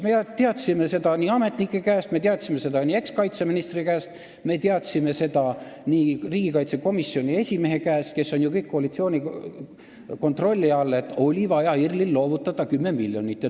Me teadsime seda ametnike käest, me teadsime seda ekskaitseministri käest, me teadsime seda riigikaitsekomisjoni esimehe käest – nemad on ju kõik koalitsiooni kontrolli all –, et IRL-il oli vaja loovutada 10 miljonit.